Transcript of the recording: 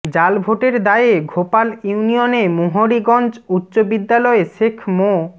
জালভোটের দায়ে ঘোপাল ইউনিয়নে মুহুরীগঞ্জ উচ্চ বিদ্যালয়ে শেখ মো